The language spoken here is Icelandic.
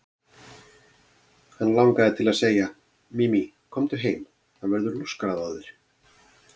Hann langaði til að segja: Mimi, komdu heim, það verður lúskrað á þér.